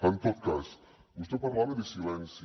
en tot cas vostè parlava de silenci